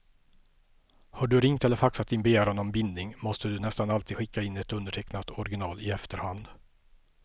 Har du ringt eller faxat din begäran om bindning måste du nästan alltid skicka in ett undertecknat original i efterhand.